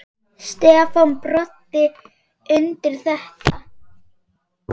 Stefán Broddi tekur undir þetta.